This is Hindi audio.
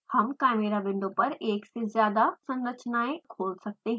हम chimera window पर एक से ज्यादा संरचनाएं खोल सकते हैं